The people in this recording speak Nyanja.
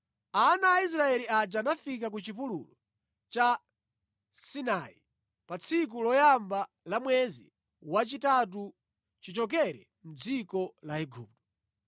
Ana a Israeli aja anafika ku chipululu cha Sinai pa tsiku loyamba la mwezi wachitatu chichokere mʼdziko la Igupto.